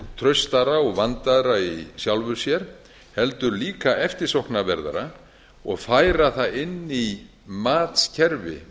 traustara og vandaðra í sjálfu sér heldur líka eftirsóknarverðara og færa það inn í matskerfi